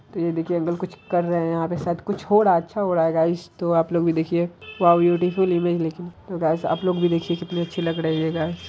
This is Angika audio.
तो ये देखिए अंकल कुछ कर रहे हैं यहाँ पे शायद कुछ हो रहा है अच्छा हो रहा है गायज | तो आप लोग भी देखिए वाओ ब्यूटीफुल इमेज लेकिन तो गायज आप लोग भी देखिए कितने अच्छे लग रहे हैं गायज।